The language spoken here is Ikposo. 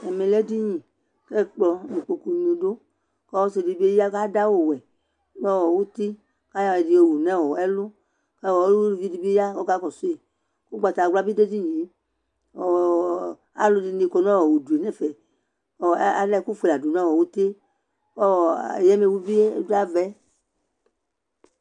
Ɛmɛ lɛ éɖɩnɩ, ƙʊ ɛkplɔ ŋʊ ɩkpokʊŋɩ ɖʊ Ɔsɩɖibɩ ƴa ƙaɖʊ awʊwɛ ŋʊti ƙaƴɔ ɛɖɩ ƴowʊ ŋɛlʊ Ƙʊ ʊlʊvɩɖɩbɩ ƴa ƙɔƙaƙɔsʊƴɩ Ʊgɓatawla ɓi ɖʊ éɖiŋɩé Alu ɛɖini ƙɔ ŋʊɖʊ ŋɛfɛ Ala ɛkʊ ƒoéla ɖʊ ŋʊtɩé , ƙɔ ƴaméʋubi ɖu aʋɛ